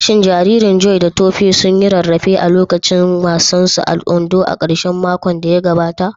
Shin jariran Joy da Tope sun yi rarrafe a lokacin wasan su a Ondo a karshen makon da ya gabata?